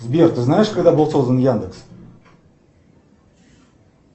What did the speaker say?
сбер ты знаешь когда был создан яндекс